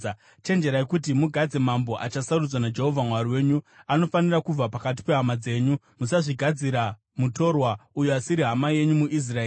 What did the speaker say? chenjererai kuti mugadze mambo achasarudzwa naJehovha Mwari wenyu. Anofanira kubva pakati pehama dzenyu. Musazvigadzira mutorwa, uyo asiri hama yenyu muIsraeri.